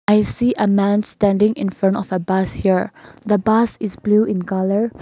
i see a man standing in front of a bus here the bus is blue in colour.